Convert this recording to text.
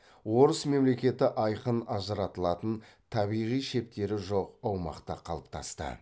орыс мемлекеті айқын ажыратылатын табиғи шептері жоқ аумақта қалыптасты